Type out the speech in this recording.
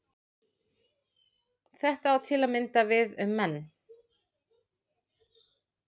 Þetta á til að mynda við um menn.